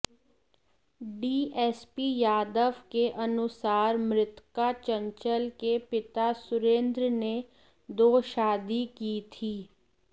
DSP Yadav के अनुसार मृतका चंचल के पिता सुरेंद्र ने दो शादी की थी